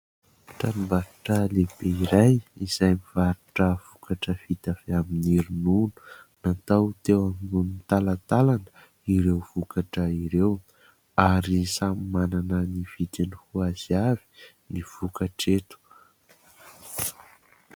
Tranombarotra lehibe iray izay mivarotra vokatra vita avy amin'ny ronono, natao teo ambonin'ny talantalana ireo vokatra ireo ary samy manana ny vidiny ho azy avy ny vokatra eto.